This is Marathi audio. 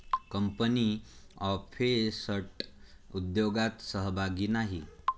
कंपनी ऑफेसट उद्योगात सहभागी नाही.